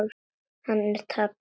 Hann er tapsár.